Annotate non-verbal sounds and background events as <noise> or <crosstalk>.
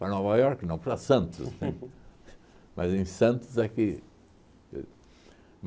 Para Nova Iorque, não para Santos, <laughs> mas em Santos é que.